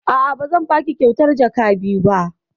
A'a, ba zan baki kyautar jaka biyu ba.